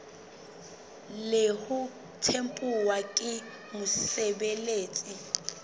le ho tempuwa ke mosebeletsi